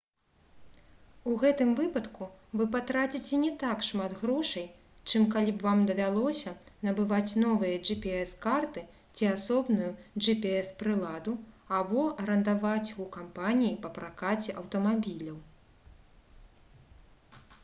у гэтым выпадку вы патраціце не так шмат грошай чым калі б вам давялося набываць новыя gps-карты ці асобную gps-прыладу або арандаваць іх у кампаніі па пракаце аўтамабіляў